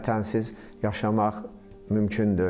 Vətənsiz yaşamaq mümkün deyil.